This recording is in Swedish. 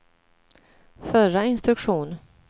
förra instruktion